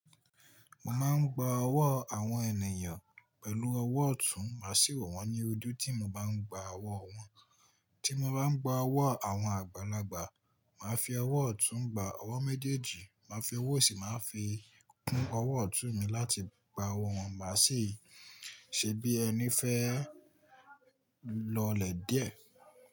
Mo máa ń gba ọwọ́ àwọn ènìyàn pẹ̀lú ọwọ́ ọ̀tún, máa sì wo wọ́n ní ojú tí mo bá ń gba ọwọ́ wọn. Tí mo bá ń gba ọwọ́ àwọn àgbàlagbà, màá fi ọwọ́ ọ̀tún gba, ọwọ́ méjèèjì máa fi ọwọ́ sìí, màá fi kún ọwọ́ ọ̀tún mi láti gba ọwọ́ wọn, má sì ṣe bí ẹni fẹ́ lọlẹ̀ díẹ̀